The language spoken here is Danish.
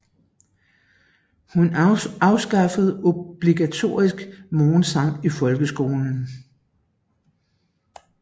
Hun afskaffede obligatorisk morgensang i folkeskolen